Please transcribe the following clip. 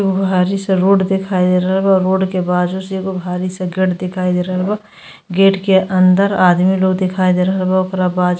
एगो भारी सा रोड दिखाई दे रहल बा। रोड के बाजू से एगो भारी सा गेट दिखाई दे रहल बा। गेट के अंदर आदमी लोग दिखाई दे रहल बा। ओकरा बाज --